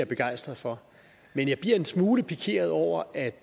er begejstret for men jeg bliver en smule pikeret over at